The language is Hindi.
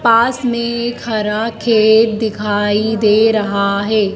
पास मैं एक हरा खेत दिखाई दे रहा हैं।